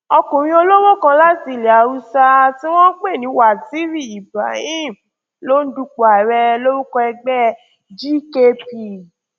ọkùnrin olówó kan láti ilẹ haúsá tí wọn ń pè ní waziri ibrahim ló ń dupò ààrẹ lórúkọ ẹgbẹ gkp